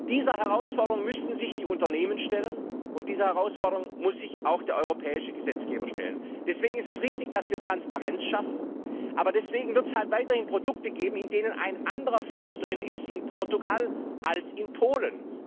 Dieser Herausforderung müssen sich die Unternehmen stellen, und dieser Herausforderung muss sich auch der europäische Gesetzgeber stellen. Deswegen ist es richtig, dass wir Transparenz schaffen. Aber deswegen wird es weiterhin Produkte geben, in denen in Portugal ein anderer Fisch drin ist als in Polen.